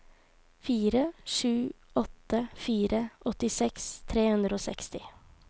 fire sju åtte fire åttiseks tre hundre og seksti